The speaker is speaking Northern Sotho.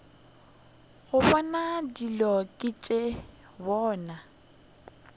gobane dilo ke tša bona